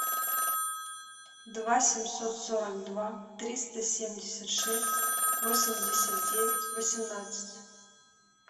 два семьсот сорок два триста семьдесят шесть восемьдесят девять восемнадцать